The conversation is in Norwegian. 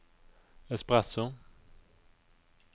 espresso